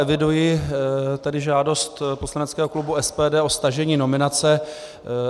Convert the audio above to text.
Eviduji tady žádost poslaneckého klubu SPD o stažení nominace.